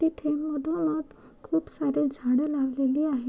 तिथे मधोमध खुप सारे झाडे लागलेली आहे.